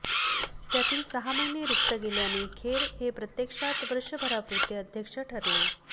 त्यातील सहा महिने रिक्त गेल्याने खेर हे प्रत्यक्षात वर्षभरापुरते अध्यक्ष ठरले